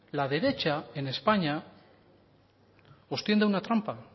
la derecha en españa os tiende una trampa